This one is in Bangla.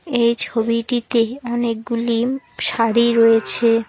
এই ছবিটিতে অনেকগুলি শাড়ি রয়েছে।